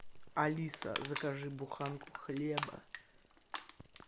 алиса закажи буханку хлеба